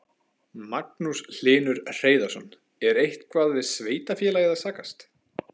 Magnús Hlynur Hreiðarsson: Er eitthvað við sveitarfélagið að sakast?